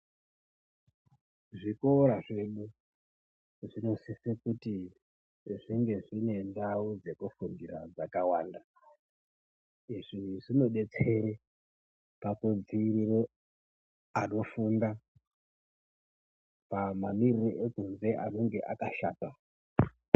Zvikora zvedu zvino sise kuti zvinge zvine ndau dzeku fundira dzakawanda izvi zvino detsere paku dzivirire anofunda kana mamirire ekunzi anenge akashata.